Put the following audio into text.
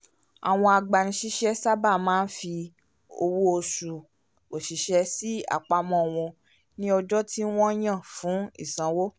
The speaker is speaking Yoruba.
àwọn agbanisiṣẹ́ sábà máa ń fi owó òṣù àwọn oṣiṣẹ́ sí àpamọ́ wọn ní ọjọ́ tí wọ́n yàn fún ìsanwó